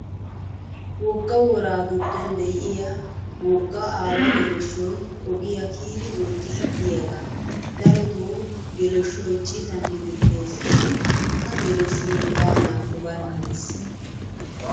Wogga woraa giddon diyaa woggaa aawa geleshshoyi ogiyaa kiyidi woxxiiddi diyaagaa. darotoo geleshshoyi citan hemetteesishin ha geleshshoyi waanaakko barkka des.